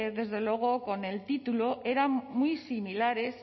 desde luego con el título eran muy similares